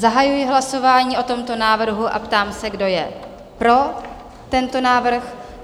Zahajuji hlasování o tomto návrhu a ptám se, kdo je pro tento návrh?